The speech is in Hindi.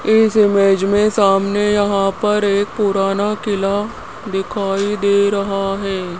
इस इमेज मे सामने यहां पर एक पुराना किला दिखाई दे रहा है।